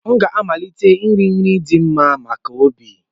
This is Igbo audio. M ga-amalite iri nri ndị dị mma maka obi